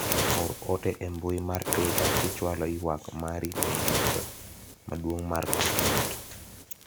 or ote e mbui mar twita kichwalo ywak mari ne duka maduong' mar Quickmart